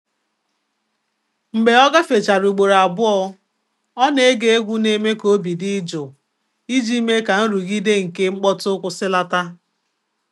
Mgbè ọ́ gàféchàrà ùgbòrò àbụ́ọ́, ọ́ nà-égé égwú nà-émé kà óbí dị́ jụ́ụ̀ ìjí mèé kà nrụ́gídé nké mkpọ́tụ́ kwụ́sị́làtà.